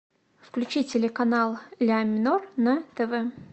включи телеканал ля минор на тв